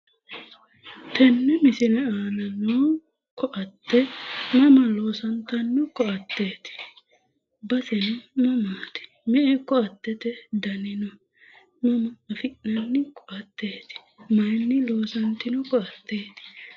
Tene misile aana noo koatte mama loosantanno koatteti? Baseno mamati? Me'e koattete dani no? Mama afi'nanni koatteti? Mayini loosatino koatteti